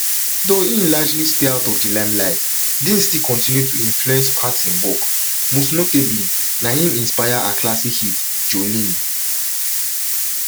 though im largely stay out of di limelight dean still continue to influence parton work most notably na im inspire her classic hit jolene